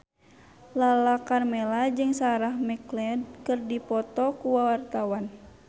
Lala Karmela jeung Sarah McLeod keur dipoto ku wartawan